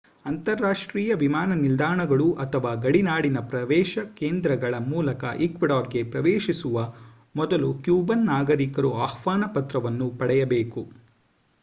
ಅಂತರರಾಷ್ಟ್ರೀಯ ವಿಮಾನ ನಿಲ್ದಾಣಗಳು ಅಥವಾ ಗಡಿನಾಡಿನ ಪ್ರವೇಶ ಕೇಂದ್ರಗಳ ಮೂಲಕ ಈಕ್ವೆಡಾರ್‌ಗೆ ಪ್ರವೇಶಿಸುವ ಮೊದಲು ಕ್ಯೂಬನ್ ನಾಗರಿಕರು ಆಹ್ವಾನ ಪತ್ರವನ್ನು ಪಡೆಯಬೇಕು